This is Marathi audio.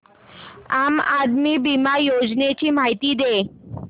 आम आदमी बिमा योजने ची माहिती दे